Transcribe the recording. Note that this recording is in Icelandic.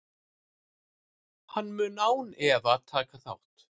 Hann mun án efa taka þátt.